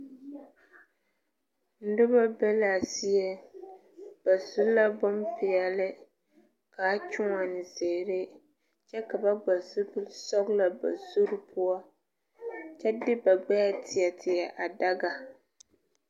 Nuba be la a zeɛ ba su la bun peɛle kaa kyuuni ziiri kye ka ba vɔgle zupili sɔglo ba zuri pou kye de ba gbeɛɛ teɛ teɛ a daga.